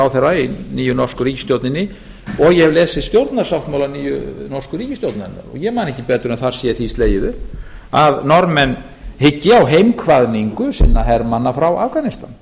ráðherra í nýju norsku ríkisstjórninni og ég hef lesið stjórnarsáttmála nýju norsku ríkisstjórnarinnar ég man ekki betur en þar sé því slegið upp að norðmenn hyggi á heimkvaðningu sinna hermanna frá afganistan